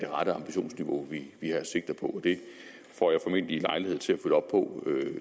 ambitionsniveau vi sigter på og det får jeg formentlig lejlighed til at følge op på